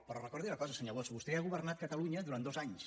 però recordi una cosa senyor bosch vostè ha governat catalunya durant dos anys